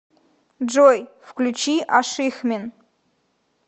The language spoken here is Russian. джой включи ашихмин